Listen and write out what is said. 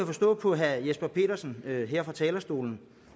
forstå på herre jesper petersen her fra talerstolen